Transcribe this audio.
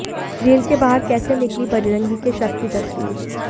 jail के बाहर कैसे निकलीं बजरंगी के शव की तस्वीर